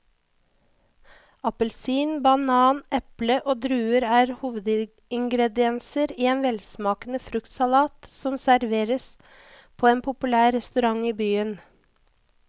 Appelsin, banan, eple og druer er hovedingredienser i en velsmakende fruktsalat som serveres på en populær restaurant i byen.